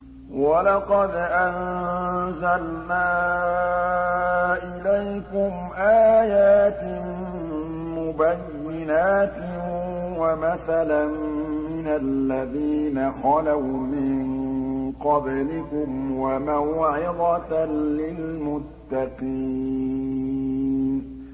وَلَقَدْ أَنزَلْنَا إِلَيْكُمْ آيَاتٍ مُّبَيِّنَاتٍ وَمَثَلًا مِّنَ الَّذِينَ خَلَوْا مِن قَبْلِكُمْ وَمَوْعِظَةً لِّلْمُتَّقِينَ